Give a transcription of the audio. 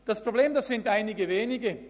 Das Problem betrifft einige wenige.